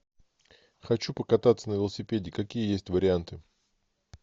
хочу покататься на велосипеде какие есть варианты